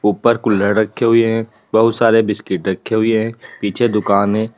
ऊपर कुल्हड़ रखे हुये हैं। बहुत सारे बिस्किट रखे हुये हैं। पीछे दुकानें --